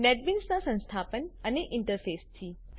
નેટબીન્સનાં સંસ્થાપન અને ઇન્ટરફેસ ઇન્ટરફેસથી